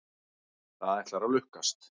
Það ætlar að lukkast.